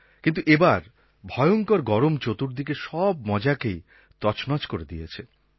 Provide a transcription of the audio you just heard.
কিন্তু এবার ভয়ঙ্কর গরম চতুর্দিকে সব মজাকেই তছনছ করে দিয়েছে